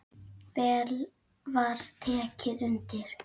Vel var tekið undir.